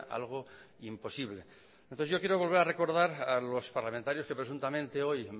algo imposible entonces yo quiero volver a recordar a los parlamentarios que presuntamente hoy